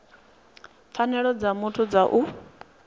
pfanelo dza muthu dza u